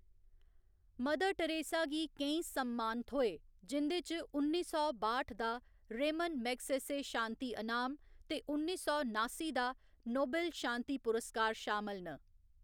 Mother Teresa गी केईं सम्मान थ्होए, जिं'दे च उन्नी सौ बाठ दा रेमन मैग्सेसे शान्ति अनाम ते उन्नी सौ नास्सी दा नोबेल शांति पुरस्कार शामल न।